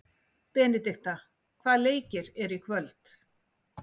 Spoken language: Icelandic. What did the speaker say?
Benidikta, hvaða leikir eru í kvöld?